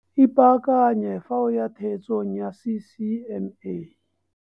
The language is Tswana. Ipaakanye fa o ya theetsong ya CCMA.